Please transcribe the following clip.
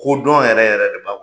Ko dɔn yɛrɛ yɛrɛ de b'a kɔnɔ.